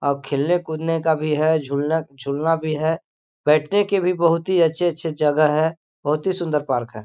आ खेलने कूदने का भी है झुलना झूलना भी है बैठने के भी बहुत ही अच्छे-अच्छे जगह है बहुत ही सुन्दर पार्क है।